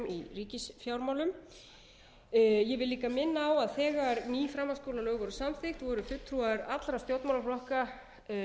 í ríkisfjármálum ég vil líka minna á að þegar ný framhaldsskólalög voru samþykkt voru fulltrúar allra stjórnmálaflokka